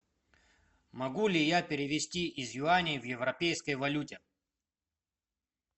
могу ли я перевести из юаней в европейской валюте